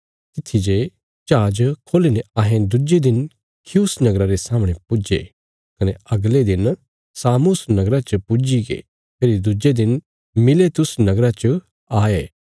तित्थी ते जहाज खोली ने अहें दुज्जे दिन खियुस नगरा रे सामणे पुज्जे कने अगले दिन सामुस नगरा च पुज्जीगे फेरी दुजे दिन मिलेतुस नगरा च आये